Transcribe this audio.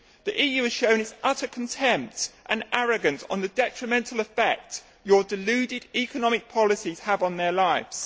The EU has shown its utter contempt and arrogance concerning the detrimental effect your deluded economic policies have on their lives.